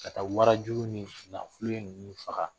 Ka taa warajugu ni ninnu faga